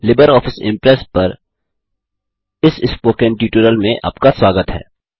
Libre office Impress पर इस spoken tutorial में आपका स्वागत है